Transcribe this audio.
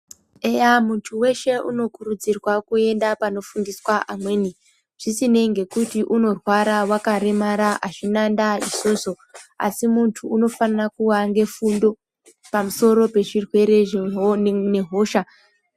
Eya muntu eshe uno kurudzirwa kuenda pano fundiswa amweni zvisinei ngekuti uno rwara waka remara azvina ndaa izvozvo asi muntu unofanira kuva ne funo pamusoro pe zvirwere ne hosha.